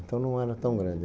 Então não era tão grande.